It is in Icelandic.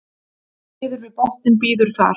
niður við botninn bíður þar